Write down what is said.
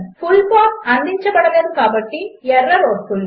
full path అందించబడలేదు కాబట్టి error వస్తుంది